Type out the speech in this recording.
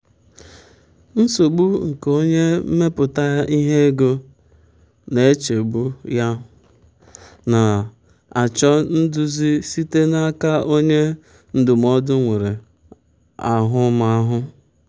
nsogbu nke onye mmepụta ihe ego na-echegbu ya na-achọ nduzi site n'aka onye ndụmọdụ nwere ahụmahụ.